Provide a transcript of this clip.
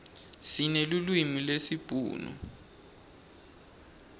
sinelulwimi lesibhunu